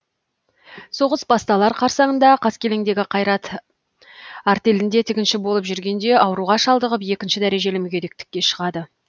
соғыс басталар қарсаңында қаскелеңдегі қайрат артелінде тігінші болып жүргенде ауруға шалдығып екінші дәрежелі мүгедектікке шығады